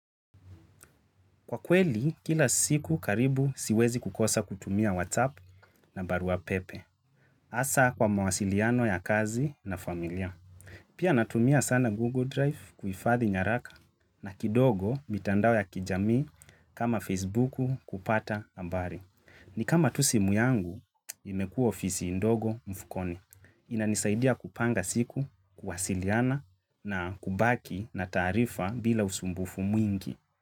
Kwa kweli, kila siku karibu siwezi kukosa kutumia WhatsApp na baruapepe. Hasa kwa mawasiliano ya kazi na familia. Pia natumia sana Google Drive kuhifadhi nyaraka na kidogo mitandao ya kijami kama Facebook kupata habari. Ni kama tu simu yangu, imekua ofisi ndogo mfukoni. Inanisaidia kupanga siku, kuwasiliana na kubaki na taarifa bila usumbufu mwingi.